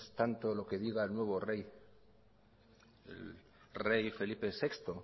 tanto lo que diga el nuevo rey felipe sexto